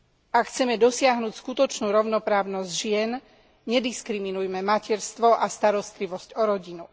Ak chceme dosiahnuť skutočnú rovnoprávnosť žien, nediskriminujme materstvo a starostlivosť o rodinu.